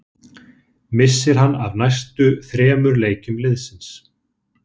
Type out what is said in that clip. Missir hann af næstu þremur leikjum liðsins.